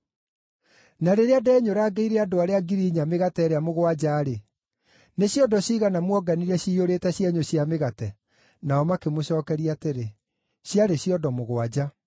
“Na rĩrĩa ndenyũrangĩire andũ arĩa ngiri inya mĩgate ĩrĩa mũgwanja-rĩ, nĩ ciondo ciigana muonganirie ciiyũrĩte cienyũ cia mĩgate?” Nao makĩmũcookeria atĩrĩ, “Ciarĩ ciondo mũgwanja.”